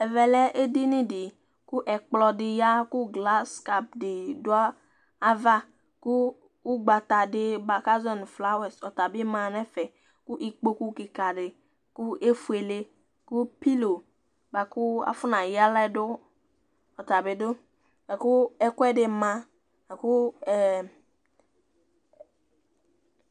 Ɛvɛ lɛ édi yni di ku ɛkpɔ di ya ku glas kadi du ava Ku ugbatadi ba ka azɔɛ nu ƒlawa ɔtabi ma nɛfɛ Ku ikpokpu kika di ku éfuélé, ku pilo baku afɔna ya aɣla du, ɔtabi du Laku ɛkuɛdi ma laku ɛ